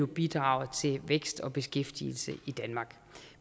bidraget til vækst og beskæftigelse i danmark